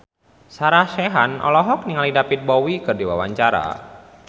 Sarah Sechan olohok ningali David Bowie keur diwawancara